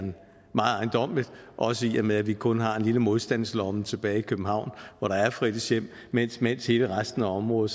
meget ejendommeligt også i og med at vi kun har en lille modstandslomme tilbage i københavn hvor der er fritidshjem mens mens hele resten af området